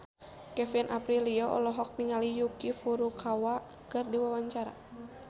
Kevin Aprilio olohok ningali Yuki Furukawa keur diwawancara